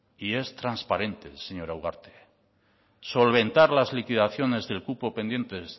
y es transparente señora ugarte solventar las liquidaciones del cupo pendientes